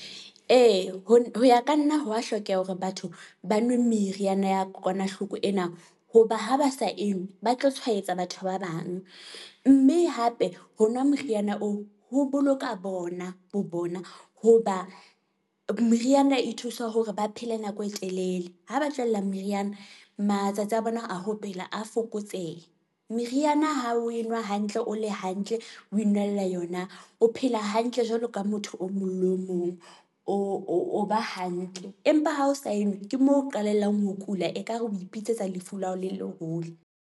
Ee, ho ya ka nna ho wa hlokeha hore batho ba nwe meriana ya kokwanahloko ena, hoba ha ba sa enngwe ba tlo tshwaetsa batho ba bang, mme hape ho nwa moriana oo ho boloka bona bo bona hoba meriana e thusa hore ba phele nako e telele, ha ba tlohellang meriana matsatsi a bona a ho phela a fokotsehe. Meriana ha o e nwa hantle o le hantle o enwa ela yona, o phela hantle jwalo ka motho o mong le o mong o ba hantle. Empa ha o sa enwa ke mo qhalelang ho kula, ekare o ipitsetsa lefu la hao le leholo.